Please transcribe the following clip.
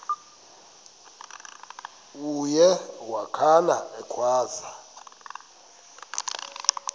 uye wakhala ekhwaza